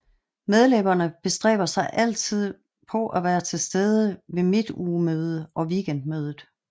Medlemmerne bestræber sig altid for at være til stede ved Midtugemøde og Weekendmødet